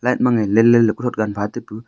let mangaih lenlen kothot gan phataipu.